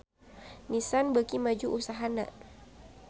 Nissan beuki maju usahana